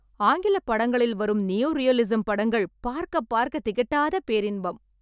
ஆங்கில படங்களில் வரும் நியோ ரீயலிஸம் படங்கள் பார்க்க பார்க்க திகட்டாத பேரின்பம்